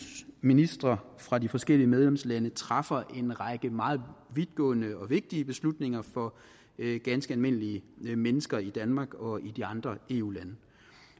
ministre fra de forskellige medlemslandene træffer en række meget vidtgående og vigtige beslutninger for ganske almindelige mennesker i danmark og i de andre eu lande